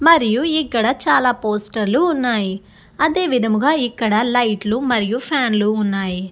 మరియు ఇక్కడ చాలా పోస్టర్ లు ఉన్నాయి. మరియు అదే విధముగా ఇక్కడ లైట్ లు ఫ్యాన్ లు ఉన్నాయి.